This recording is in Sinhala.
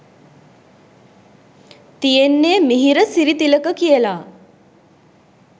තියෙන්නේ මිහිර සිරිතිලක කියලා.